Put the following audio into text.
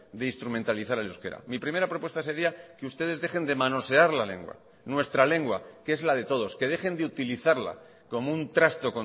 de instrumentalizar el euskera mi primera propuesta sería que ustedes dejen de manosear la lengua nuestra lengua que es la de todos que dejen de utilizarla como un trasto